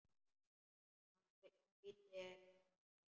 Hann heitir Vaskur.